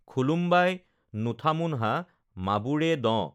খুলুমবাই নোথামোনহা মাবোৰে দঁ!